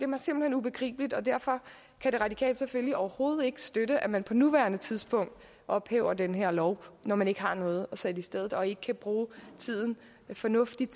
mig simpelt hen ubegribeligt og derfor kan de radikale selvfølgelig overhovedet ikke støtte at man på nuværende tidspunkt ophæver den her lov når man ikke har noget at sætte i stedet og ikke kan bruge tiden fornuftigt